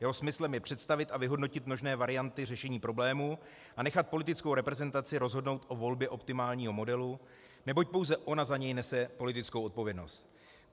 Jeho smyslem je představit a vyhodnotit možné varianty řešení problému a nechat politickou reprezentaci rozhodnout o volbě optimálního modelu, neboť pouze ona za něj nese politickou odpovědnost.